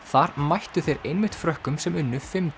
þar mættu þeir einmitt Frökkum sem unnu fimm